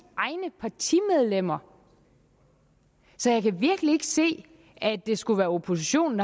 egne partimedlemmer så jeg kan virkelig ikke se at det skulle være oppositionen